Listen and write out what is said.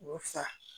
Fa